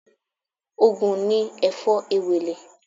Ògùn ni Èfó Ewèlè